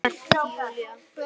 Hélt Júlía.